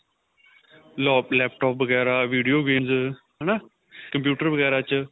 lop laptop ਵਗੈਰਾ video games ਹਨਾ computer ਵਗੈਰਾ ਚ ਆ